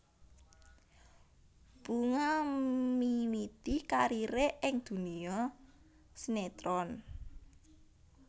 Bunga miwiti karire ing dunia sinetron